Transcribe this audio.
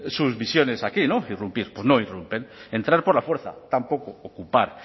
sus visiones aquí no irrumpir pues no irrumpen entrar por la fuerza tampoco ocupar